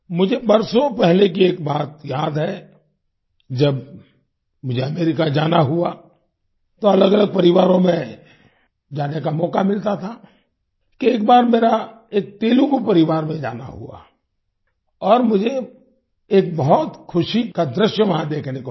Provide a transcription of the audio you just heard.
मुझे बरसों पहले की एक बात याद है जब मुझे अमेरिका जाना हुआ तो अलगअलग परिवारों में जाने का मौका मिलता था कि एक बार मेरा एक तेलुगू परिवार में जाना हुआ और मुझे एक बहुत खुशी का दृश्य वहां देखने को मिला